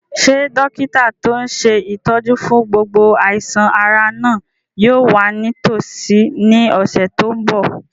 Ṣé dókítà tó n ṣe ìtọ́jú fún gbogbo àìsàn-ara náà yóò wà nítòsí ní ọ̀sẹ̀ tó n bọ̀?